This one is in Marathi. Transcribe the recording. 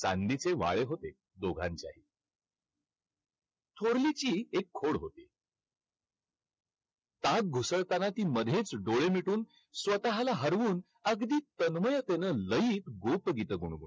चांदीचे वाळे होते. दोघांच्याही. थोरलीची एक खोड होती. ताक घुसळताना ती मध्येच डोळे मिटून स्वतःला हारवून अगदी तन्मयतेने लई गोपगीतं गुणगूणतो.